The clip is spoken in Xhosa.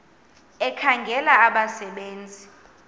ekhangela abasebe nzi